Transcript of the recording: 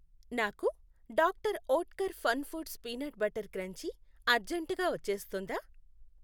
నాకు doctor Oetker fun foods peanut butter crunchy అర్జెంటుగా వచ్చేస్తుందా?